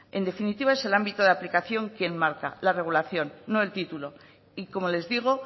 en definitiva es el ámbito de aplicación que enmarca la regulación no el título y como les digo